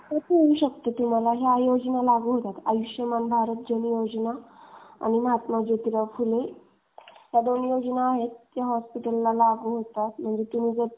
येऊ शकते. मग तुम्हाला. या योजना लागू होता. आयुष्मान भारत जन योजना. आणि महात्मा जोतीराव फुले.